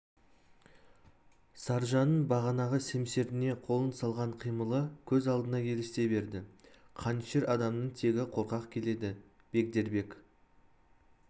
саржанның бағанағы семсеріне қолын салған қимылы көз алдына елестей берді қанішер адамның тегі қорқақ келеді бегдербек